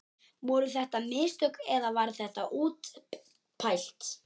Voru þetta mistök eða var þetta útpælt?